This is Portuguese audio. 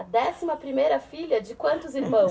A décima primeira filha de quantos irmãos?